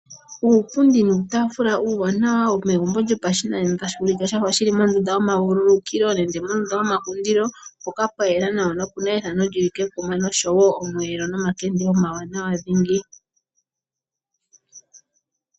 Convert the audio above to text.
Uupundi nuutaafula uuwanawa womegumbo lyopashinanena tashi ulike shafa shi li mondunda yomavululukilo nenge mondunda yomapopithilo shoka tashi ulike pwa yela nawa nopuna ethano li li kekuma noshowo omweelo nomakende omawanawa dhingi.